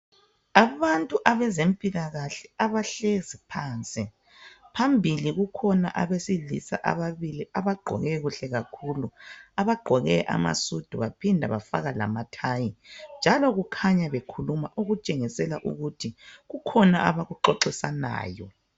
Abantu abezempilakahle abahlezi phansi. Phambili kukhona abesilisa ababili abagqoke kuhle kakhulu. Abagqoke amasudu baphinda bafaka lamathayi njalo kukhanya bekhuluma okutshengisela ukuthi kukhona abakuxoxisanayo.